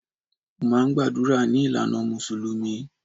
Mo máà ń gbàdúrà ní ìlànà mùsùlùmí